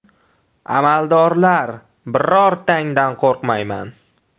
Amaldorlar, birortangdan qo‘rqmayman.